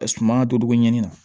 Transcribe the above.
A suma donko ɲɛnni na